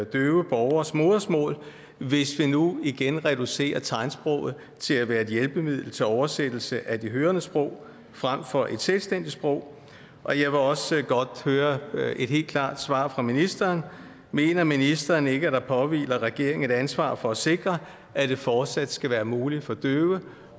døve borgeres modersmål hvis vi nu igen reducerer tegnsproget til at være et hjælpemiddel til oversættelse af de hørendes sprog frem for et selvstændigt sprog og jeg vil også godt høre et helt klart svar fra ministeren mener ministeren ikke at der påhviler regeringen et ansvar for at sikre at det fortsat skal være muligt for døve